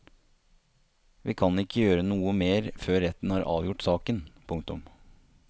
Vi kan ikke gjøre noe mer før retten har avgjort saken. punktum